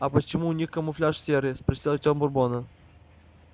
а почему у них камуфляж серый спросил артем бурбона